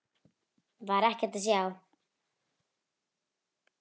Þar var ekkert að sjá.